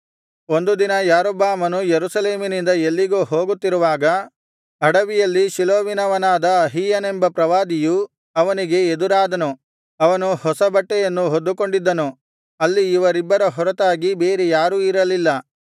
ಒಂದು ದಿನ ಯಾರೊಬ್ಬಾಮನು ಯೆರೂಸಲೇಮಿನಿಂದ ಎಲ್ಲಿಗೋ ಹೋಗುತ್ತಿರುವಾಗ ಅಡವಿಯಲ್ಲಿ ಶಿಲೋವಿನವನಾದ ಅಹೀಯನೆಂಬ ಪ್ರವಾದಿಯು ಅವನಿಗೆ ಎದುರಾದನು ಅವನು ಹೊಸ ಬಟ್ಟೆಯನ್ನು ಹೊದ್ದುಕೊಂಡಿದ್ದನು ಅಲ್ಲಿ ಇವರಿಬ್ಬರ ಹೊರತಾಗಿ ಬೇರೆ ಯಾರೂ ಇರಲಿಲ್ಲ